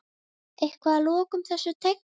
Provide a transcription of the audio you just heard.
Eitthvað að lokum þessu tengt?